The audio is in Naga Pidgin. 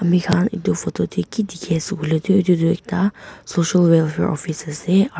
ami khan etu photo te ki dikhi ase koi le toh etu toh ekta social welfare office ase.